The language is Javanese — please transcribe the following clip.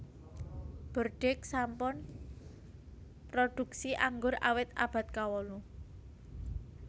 Bordeaux sampun mrodhuksi anggur awit abad kawolu